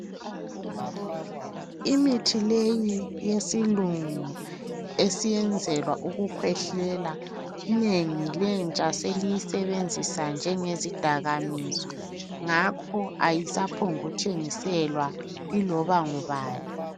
Imithi leyi yesilungu esiyenzelwa ukukhwehlela inengi lentsha seliyisebenzisa njengezidakamizwa. Ngakho ayisaphongu thengiselwa iloba ngubani.